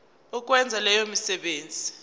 ukwenza leyo misebenzi